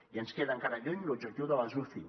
i ens queda encara lluny l’objectiu de les uci